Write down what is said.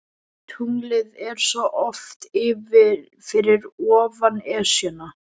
Tunglið er svo oft fyrir ofan Esjuna.